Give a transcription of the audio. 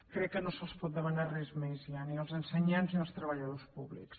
crec que no se’ls pot demanar res més ja ni als ensenyants ni als treballadors públics